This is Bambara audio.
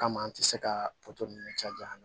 Kama an tɛ se ka caya